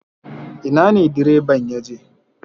Ina ne direban ya je?